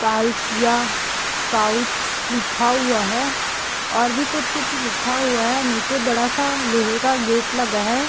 कालसिया क्राउच लिखा हुआ है और भी कुछ-कुछ लिखा हुआ है। नीचे बड़ा सा लोहे का गेट लगा है।